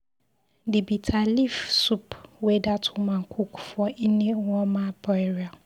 The bitter leaf soup wey dat woman cook for Nne ọma burial.